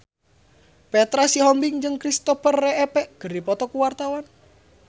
Petra Sihombing jeung Kristopher Reeve keur dipoto ku wartawan